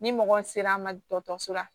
Ni mɔgɔ sera ma dɔgɔtɔrɔso la